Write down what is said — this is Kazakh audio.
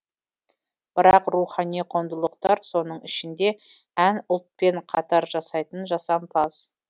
бірақ рухани құндылықтар соның ішінде ән ұлтпен қатар жасайтын жасампаз